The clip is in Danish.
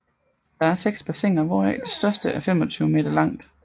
Der er 6 bassiner hvoraf det største er 25 meter langt